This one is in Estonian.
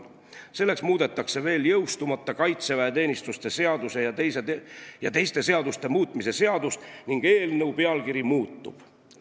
Selleks muudetakse veel jõustumata kaitseväeteenistuse seaduse ja teiste seaduste muutmise seadust ning eelnõu pealkiri muutub.